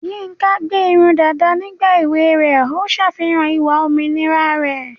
Yinka gbé irun dàda nígbà èwe rẹ̀, ó ń ṣàfihàn ìwà òmìnira rẹ̀.